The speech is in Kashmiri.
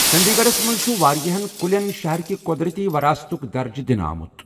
چٔنٛدی گَڑھس منٛز چُھ واریاہن کُلیٚن شہر کہِ قۄدرٔتی وَراثتُک درجہٕ دِنہٕ آمُت۔